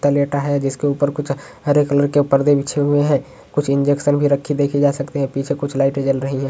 कुत्ता लेटा है जिसके ऊपर कुछ हरे कलर के परदे बिछे हुए है। कुछ इन्जेक्शन भी रखे देखी जा सकती हैं। पीछे कुछ लाइटे जल रही हैं।